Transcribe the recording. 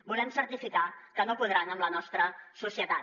volem certificar que no podran amb la nostra societat